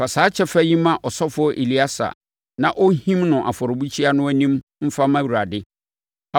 Fa saa kyɛfa yi ma ɔsɔfoɔ Eleasa na ɔnhim no afɔrebukyia no anim mfa mma Awurade.